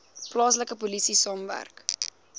plaaslike polisie saamwerk